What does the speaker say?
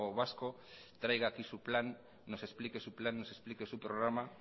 vasco traiga aquí su plan nos explique su plan nos explique su programa